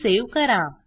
ते सेव्ह करा